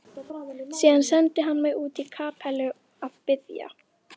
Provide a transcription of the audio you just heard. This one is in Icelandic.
Síðan sendi hann mig út í kapellu að biðja.